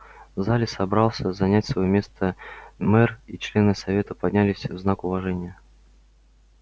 в зале собрался занять своё место мэр и члены совета поднялись в знак уважения